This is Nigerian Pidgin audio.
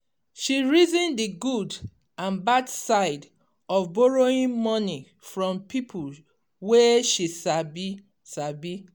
she reason the good and bad side of borrowing money from people wey she sabi. sabi.